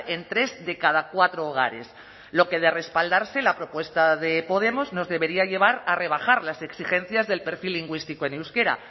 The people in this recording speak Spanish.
en tres de cada cuatro hogares lo que de respaldarse la propuesta de podemos nos debería llevar a rebajar las exigencias del perfil lingüístico en euskera